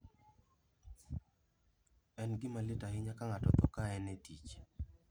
En gima lit ahinya ka ng'ato otho ka en e tich.